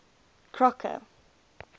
crocker